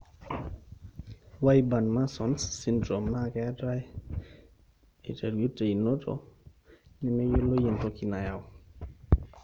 Wyburn masons syndrome naa ketae iteru teinoto nemeyioloi entoki nayau.